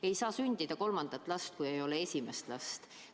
Ei saa sündida kolmandat last, kui ei ole esimest last.